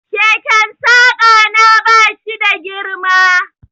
Keken Saƙa na ba shi da girma.